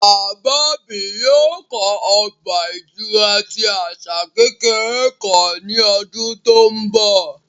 Baba mi yoo kọ ọgba-ìturá ti asa kekere kan ni ọdun to nbọ